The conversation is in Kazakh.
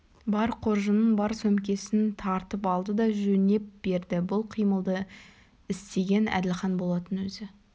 бар қоржынын бар сөмкесін тартып алды да жөнеп берді бұл қимылды істеген әділхан болатын өзі